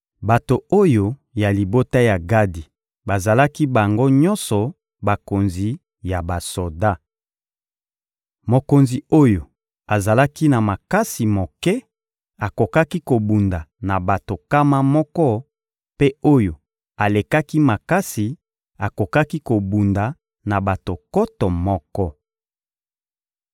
Bato oyo ya libota ya Gadi bazalaki bango nyonso bakonzi ya basoda. Mokonzi oyo azalaki na makasi moke akokaki kobunda na bato nkama moko, mpe oyo alekaki makasi akokaki kobunda na bato nkoto moko.